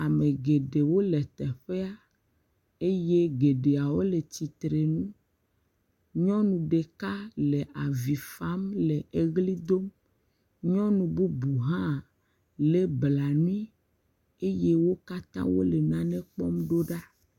Ame geɖewo le teƒea, eye geɖeawo le tsitre nu, nyɔnu ɖeka le avi fam le eɣli dom, nyɔnu bubu hã lé blanui, eye wo kata wole nane kpɔm ɖo ɖa.